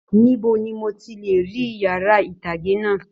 Níbo ní mò tí lè rí yàrá itage náà?